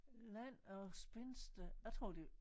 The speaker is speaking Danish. Land of spinster jeg tror det